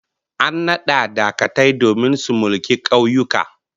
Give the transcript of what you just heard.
An nada dagatai domin su mulki kauyuka